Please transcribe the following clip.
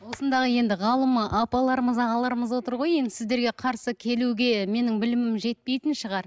осындағы енді ғалым апаларымыз ағаларымыз отыр ғой енді сіздерге қарсы келуге менің білімім жетпейтін шығар